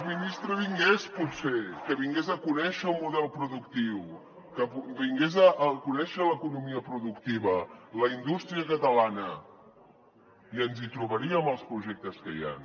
ministre vingués potser que vingués a conèixer el model productiu que vingués a conèixer l’economia productiva la indústria catalana i ens hi trobaríem als projectes que hi han